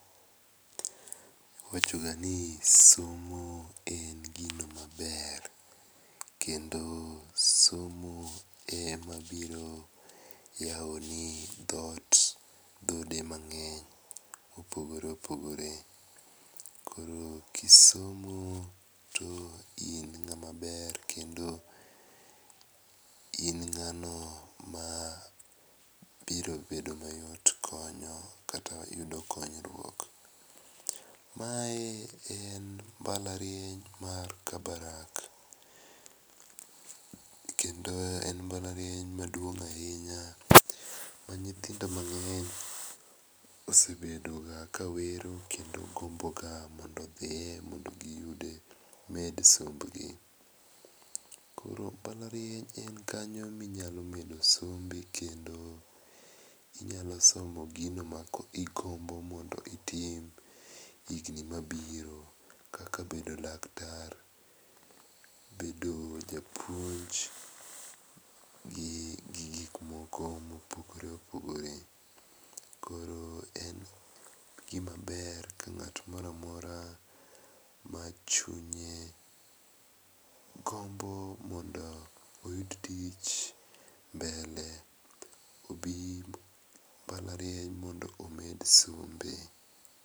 Iwachoga ni somo en gino maber. Kendo somo ema biro yawoni dhoot dhoudi mang'eny ma opogore opogore. Koro ka isomo to in ng'ama ber kendo in ng'ano ma biro bedo mayot konyo kata yudo konyruok. Mae en mbalariany mar Kabarak kendo en mbalariany maduong' ahinya ma nyithindo mang'eny osebedoga ka wero kendo gomboga mondo odhiye mondo giyude gimed sombgi. Koro mbalariany en kanyo minyalo medo sombi kendo inyalo smo gino ma igombo mondo itim higni ma birokaka bedo laktar, bedo japuonj gi gik moko moogore opogore. Koro en gima ber ka ng'ato moro amora machunye gombo mondo oyud tich mbele obi mbalariany mondo omed sombe.